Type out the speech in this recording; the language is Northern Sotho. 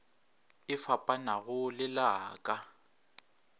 e fapanago le la ka